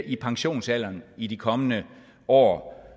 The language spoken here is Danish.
i pensionsalderen i de kommende år